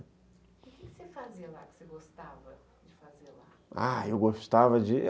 O que você fazia lá que você gostava de fazer lá? Ah, eu gostava de